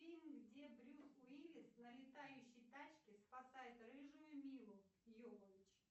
фильм где брюс уиллис на летающей тачке спасает рыжую милу йовович